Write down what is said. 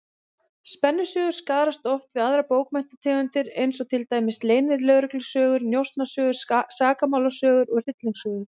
Spennusögur skarast oft við aðrar bókmenntategundir, eins og til dæmis leynilögreglusögur, njósnasögur, sakamálasögur og hryllingssögur.